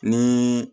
Ni